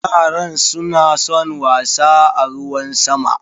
Yaran suna son wasa a ruwan sama.